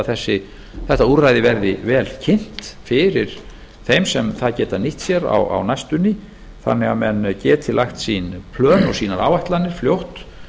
að þetta úrræði verði vel kynnt fyrir þeim sem það geta nýtt sér á næstunni þannig að menn geti lagt sín plön og sínar áætlanir fljótt